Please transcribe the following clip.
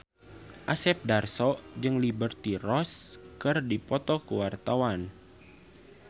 Asep Darso jeung Liberty Ross keur dipoto ku wartawan